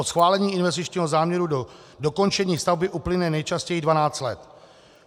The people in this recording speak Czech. Od schválení investičního záměru do dokončení stavby uplyne nejčastěji 12 let.